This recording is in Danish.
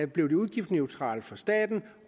blev udgiftsneutralt for staten